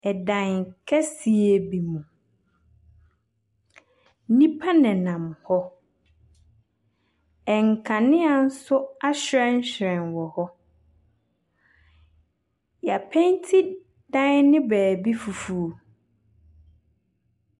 Ɛdan kɛseɛ bi mu. Nnipa nenam hɔ. Nkanea nso ahyerɛnhyerɛn wɔ hɔ. Y'apenti dan ne baabi fufuo.